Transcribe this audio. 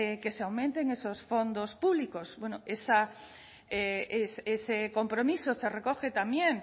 que se aumenten esos fondos públicos bueno ese compromiso se recoge también